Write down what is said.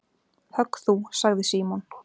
Högg þú sagði Símon.